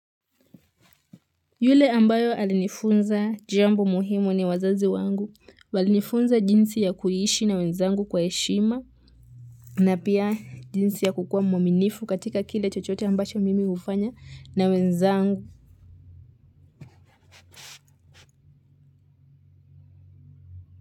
Yule ambayo alinifunza jambo muhimu ni wazazi wangu walinifunza jinsi ya kuiishi na wenzangu kwa heshima na pia jinsi ya kukua mwaminifu katika kile chochote ambacho mimi hufanya na wenzangu.